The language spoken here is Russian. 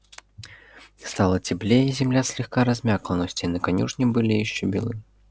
стало теплее и земля слегка размякла но стены конюшни были ещё белы